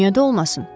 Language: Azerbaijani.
Niyə də olmasın?